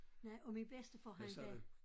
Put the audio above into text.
Nej og min bedste han havde